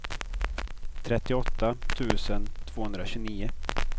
trettioåtta tusen tvåhundratjugonio